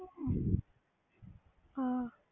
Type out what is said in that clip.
ਹਾਂ